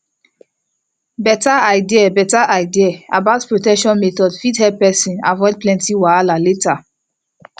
beta idea beta idea about protection methods fit help avoid plenty wahala later